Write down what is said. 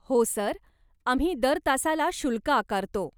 हो सर, आम्ही दर तासाला शुल्क आकारतो.